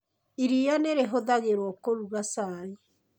Iria nĩ rĩhũthagĩrũo kũruga cai.